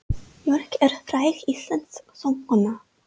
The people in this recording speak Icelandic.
Björk er fræg íslensk söngkona.